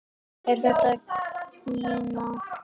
Er þetta gína?